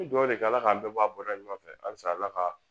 duwawu kɛ ala k'an bɛɛ bɔ a bɔra ɲɔgɔn fɛ halisa ala ka